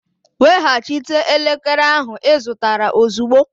Weghachite elekere ahụ ị zụtara ozugbo!